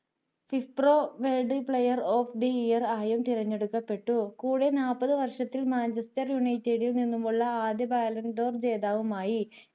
viproworld player of the year ആയും തിരഞ്ഞെടുക്കപ്പെട്ടു കൂടെ നാൽപ്പത് വർഷത്തിൽ മാഞ്ചസ്റ്റർ യുണൈറ്റഡിൽ നിന്നുമുള്ള ആദ്യ violent ജേതാവുമായി